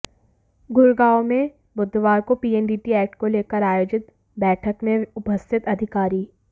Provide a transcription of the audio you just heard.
गुड़गांव में बुधवार को पीएनडीटी एक्ट को लेकर आयोजित बैठक में उपस्थित अधिकारी